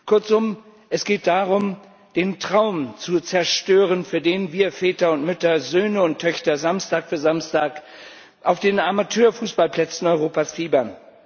Kurzum Es geht darum, den Traum zu zerstören, für den wir Väter und Mütter, Söhne und Töchter Samstag für Samstag auf den Amateurfußballplätzen Europas fiebern.